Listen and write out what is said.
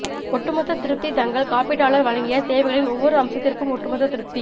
ஒட்டுமொத்த திருப்தி தங்கள் காப்பீட்டாளர் வழங்கிய சேவைகளின் ஒவ்வொரு அம்சத்திற்கும் ஒட்டுமொத்த திருப்தி